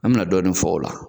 An bɛna dɔɔnin fɔ o la